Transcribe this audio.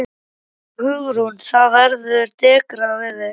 Hugrún: Það verður dekrað við þig?